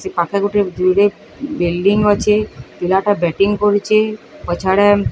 ସେପାଖେ ଗୋଟେ ଯୁଡ଼େ ବିଲଡିଂ ଅଛେ। ‌ ପିଲାଟା ବ୍ୟାଟିଂ କରୁଚେ। ପଛଆଡ଼େ --